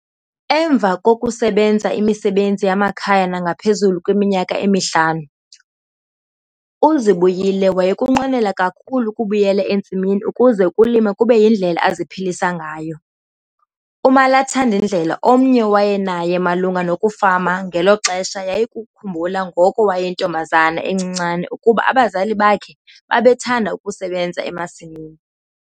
Emva kokusebenza imisebenzi yamakhaya nangaphezulu kweminyaka emihlanu, uZibuyile wayekunqwenela kakhulu ukubuyela entsimini ukuze ukulima kube yindlela aziphilisa ngayo. Umalathindlela omnye awayenaye malunga nokufama ngelo xesha yayikukukhumbula ngoko wayeyintombazana encinane ukuba abazali bakhe babethanda ukusebenza emasimini.